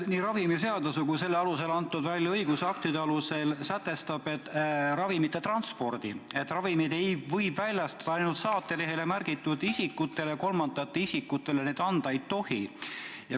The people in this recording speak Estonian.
Nii ravimiseaduse kui selle alusel väljaantud õigusaktide alusel on sätestatud, et ravimite transpordil võib ravimeid üle anda ainult saatelehel märgitud isikutele, kolmandatele isikutele neid anda ei tohi.